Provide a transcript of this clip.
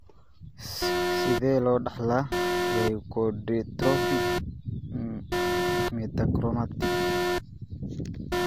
Sidee loo dhaxlaa leukodystrophy metachromatic?